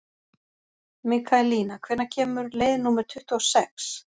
Mikaelína, hvenær kemur leið númer tuttugu og sex?